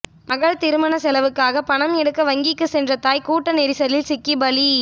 மகள் திருமண செலவுக்காக பணம் எடுக்க வங்கிக்கு சென்ற தாய் கூட்ட நெரிசலில் சிக்கி பலி